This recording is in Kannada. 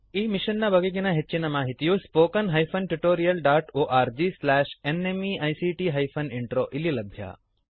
ಈ ಮಿಶನ್ ನ ಬಗೆಗಿನ ಹೆಚ್ಚಿನ ಮಾಹಿತಿಯು spoken hyphen tutorial dot org slash NMEICT hyphen intro ದಲ್ಲಿ ಲಭ್ಯ